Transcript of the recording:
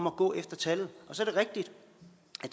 at gå efter tallet så